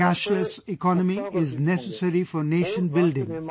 A cashless economy is necessary for nation building